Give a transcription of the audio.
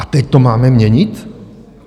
A teď to máme měnit?